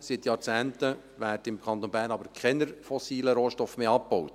Seit Jahrzehnten werden aber im Kanton Bern keine fossilen Rohstoffe mehr abgebaut.